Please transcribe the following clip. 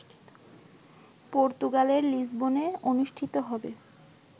পর্তুগালের লিসবনে অনুষ্ঠিত হবে